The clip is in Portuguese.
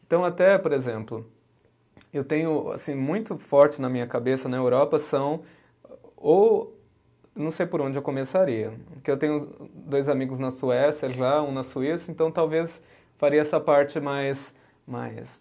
Então até, por exemplo, eu tenho assim muito forte na minha cabeça na Europa são ou não sei por onde eu começaria, porque eu tenho dois amigos na Suécia já, um na Suíça, então talvez faria essa parte mais mais